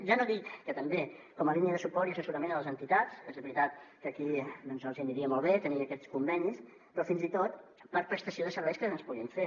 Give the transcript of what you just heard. ja no ho dic que també com a línia de suport i assessorament a les entitats és veritat que els hi aniria molt bé tenir aquests convenis però fins i tot per prestació de serveis que es puguin fer